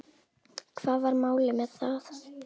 Hvað var málið með það?